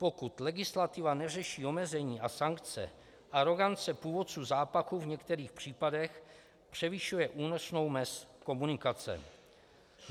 Pokud legislativa neřeší omezení a sankce, arogance původců zápachu v některých případech převyšuje únosnou mez komunikace.